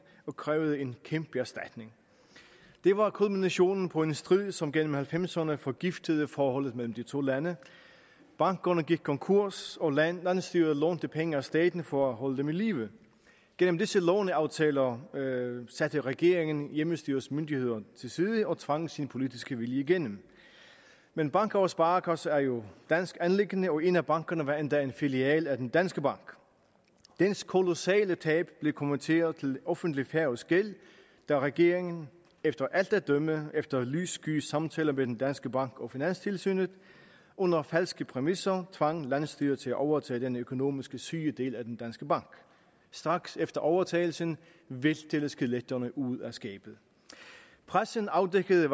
og krævede en kæmpe erstatning det var kulminationen på en strid som gennem nitten halvfemserne forgiftede forholdet mellem de to lande bankerne gik konkurs og landsstyret lånte penge af staten for at holde dem i live gennem disse låneaftaler satte regeringen hjemmestyrets myndigheder til side og tvang sin politiske vilje igennem men banker og sparekasser er jo et dansk anliggende og en af bankerne var endda en filial af den danske bank dens kolossale tab blev konverteret til offentlig færøsk gæld da regeringen efter alt at dømme efter lyssky samtaler med den danske bank og finanstilsynet under falske præmisser tvang landsstyret til at overtage den økonomisk syge del af den danske bank straks efter overtagelsen væltede skeletterne ud af skabet pressen afdækkede